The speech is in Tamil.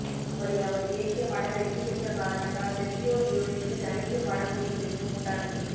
அப்படி அவர் இயக்கிய படம் வெற்றி பெற்ற காரணத்தால் செர்ஜியோ லியோனிக்கு தனித்து படம் செய்யும் விருப்பம் உண்டானது